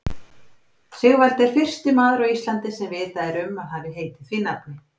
Sigvaldi er fyrsti maður á Íslandi sem vitað er um að hafi heitið því nafni.